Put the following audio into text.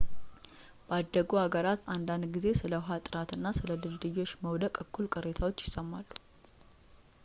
በአደጉ ሀገራት አንዳንድ ጊዜ ስለ ውሃ ጥራት እና ስለ ድልድዮች መውደቅ እኩል ቅሬታዎች ይሰማሉ